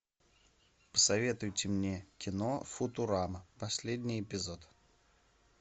посоветуйте мне кино футурама последний эпизод